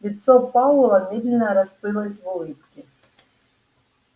лицо пауэлла медленно расплылось в улыбке